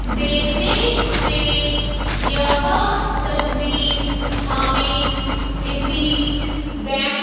देखने से यह तस्वीर हमें किसी बैंक --